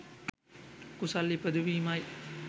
කුසල් ඉපදවීමයි